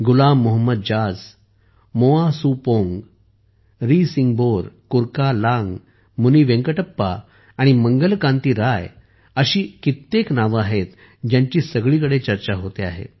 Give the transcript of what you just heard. गुलाम मोहम्मद ज़ाज़ मोआ सुपोंग रीसिंहबोर कुरकालांग मुनीवेंकटप्पा आणि मंगल कांती राय अशी कित्येक नावे आहेत ज्यांची सगळीकडे चर्चा होते आहे